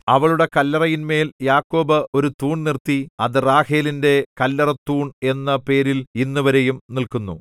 അവളുടെ കല്ലറയിന്മേൽ യാക്കോബ് ഒരു തൂൺ നിർത്തി അത് റാഹേലിന്റെ കല്ലറത്തൂൺ എന്ന പേരിൽ ഇന്നുവരെയും നില്ക്കുന്നു